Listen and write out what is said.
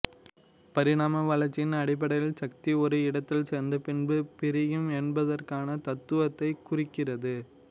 பரிணாம வளர்ச்சியின் அடைப்படையில் சக்தி ஒரு இடத்தில் சேர்ந்து பின்பு பிரியும் என்பதற்கான தத்துவத்தை குறிக்கிறது